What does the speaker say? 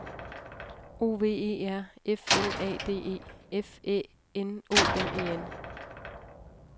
O V E R F L A D E F Æ N O M E N